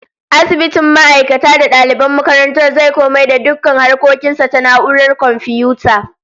Asibitin ma'aikata da daliban makarantar zai komai da dukkan harkokin sa ta na'urar komfiyuta